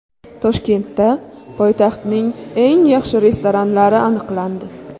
Toshkentda poytaxtning eng yaxshi restoranlari aniqlandi.